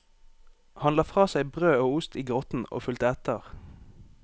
Han la fra seg brød og ost i grotten og fulgte etter.